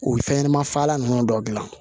U ye fɛn ɲɛnɛma faa ninnu dɔ dilan